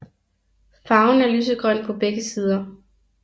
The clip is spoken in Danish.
Farven er lysegrøn på begge sider